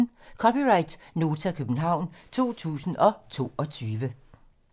(c) Nota, København 2022